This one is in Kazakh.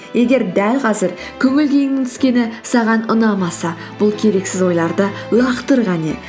егер дәл қазір көңіл күйіңнің түскені саған ұнамаса бұл керексіз ойларды лақтыр қане